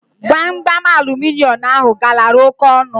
Gbamgbam aluminịọmụ ahụ galara óké ọnụ